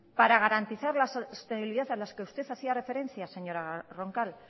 para garantizar la sostenibilidad a la que usted hacía referencia señora roncal